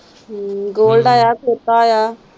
ਹਮ ਗੋਲਡਾ ਹੈ ਛੋਟਾ ਹੈ।